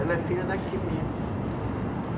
Ela é filha daqui mesmo.